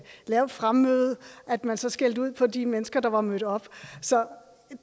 lavt fremmøde at man så skældte ud på de mennesker der var mødt op så